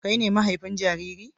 Kai ne mahaifin jariri?